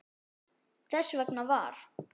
Þess vegna var